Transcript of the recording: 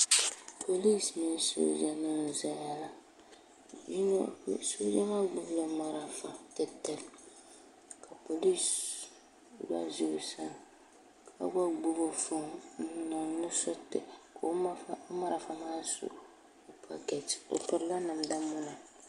polinsi mini sooja nima n zaya la sooja maa gbibi la marafa polinsi gba za o sani ka gba gbibi fooni n niŋ nusuriti ka o marafa maa su o paketi o pirila namda muna.